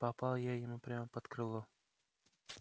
попал я ему прямо под крыло